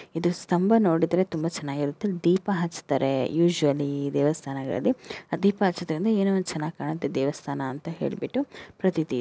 ಇದು ಸ್ತಂಭ ನೋಡುದ್ರೆ ತುಂಬಾ ಚೆನ್ನಾಗಿರುತ್ತೆ ದೀಪ ಹಚ್ಚ್ತಾರೆ ಯುಜ್ಯಲಿ ದೇವಸ್ತಾನಗಳಲ್ಲಿ ದೀಪ ಹಚ್ಚುದ್ರೆ ಅಂದ್ರೆ ಏನೋ ಒಂದು ಚೆನ್ನಾಗ್ ಕಾಣುತ್ತೆ ದೇವಸ್ತಾನ ಅಂತ ಹೇಳ್ಬಿಟ್ಟು ಪ್ರತೀತಿ.